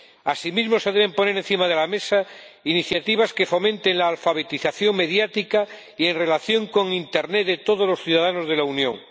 Asimismo, se deben poner encima de la mesa iniciativas que fomenten la alfabetización mediática y en relación con internet de todos los ciudadanos de la Unión.